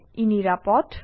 ই নিৰাপদ